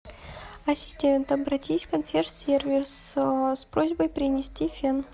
ассистент обратись в консьерж сервис с просьбой принести фен